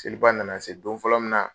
Seliba na na se don fɔlɔ min na